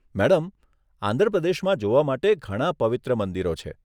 Madam, Andhra પ્રદેશમાં જોવા માટે ઘણા પવિત્ર મંદિરો છે.